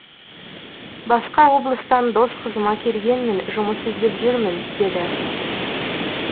басқа облыстан дос қызыма келгенмін жұмыс іздеп жүрмін деді